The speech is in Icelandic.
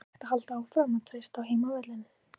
Er hægt að halda áfram að treysta á heimavöllinn?